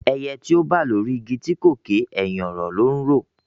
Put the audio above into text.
Ẹyẹ tó bà lórí igi tí kò ké, ẹ̀hìn ọ̀rọ̀ ló ńrò